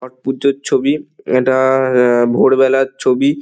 ছট পুজোর ছবি। ইটা-আ আ ভোরবেলার ছবি।